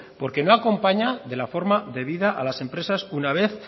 porque no acompaña de la forma de vida a las empresas una vez